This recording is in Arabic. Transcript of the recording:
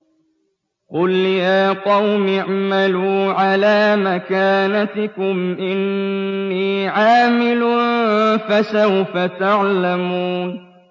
قُلْ يَا قَوْمِ اعْمَلُوا عَلَىٰ مَكَانَتِكُمْ إِنِّي عَامِلٌ ۖ فَسَوْفَ تَعْلَمُونَ